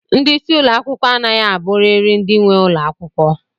Ndị isi ụlọ akwụkwọ a naghị aburiri ndị nwe ụlọ akwụkwọ.